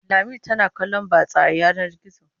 Lami tana kallon batsa a yanar gizo.